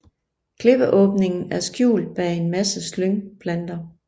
Klippeåbningen er skjult bag en masse slyngplanter